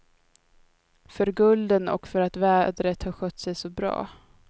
För gulden och för att vädret har skött sig så bra.